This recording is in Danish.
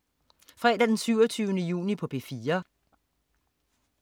Fredag den 27. juni - P4: